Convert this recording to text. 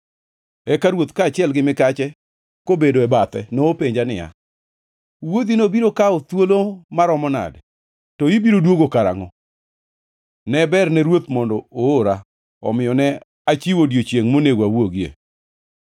Eka ruoth, kaachiel gi mikache kobedo bathe nopenja niya, “Wuodhino biro kawo thuolo maromo nade, to ibiro duogo karangʼo?” Ne berne ruoth mondo oora; omiyo ne achiwo odiechiengʼ monego awuogie.